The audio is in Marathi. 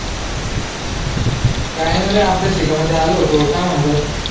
काय नाय रे आब्येच शेतामध्ये आलो होतो काय म्हणतो